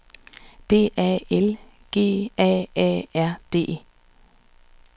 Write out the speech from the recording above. D A L G A A R D